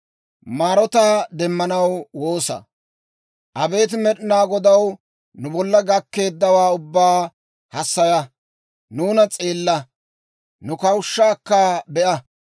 Abeet Med'inaa Godaw, nu bolla gakkeeddawaa ubbaa hassaya; nuuna s'eella; nu kawushshaakka be'a!